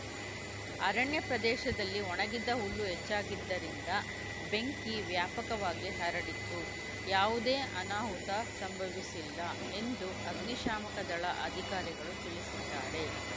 ಅರಣ್ಯ ಪ್ರದೇಶದಲ್ಲಿ ಒಣಗಿದ್ದ ಹುಲ್ಲು ಹೆಚ್ಚಾಗಿದ್ದರಿಂದ ಬೆಂಕಿ ವ್ಯಾಪಕವಾಗಿ ಹರಡಿತ್ತು ಯಾವುದೇ ಅನಾಹುತ ಸಂಭವಿಸಿಲ್ಲ ಎಂದು ಅಗ್ನಿಶಾಮಕ ದಳ ಅಧಿಕಾರಿಗಳು ತಿಳಿಸಿದ್ದಾರೆ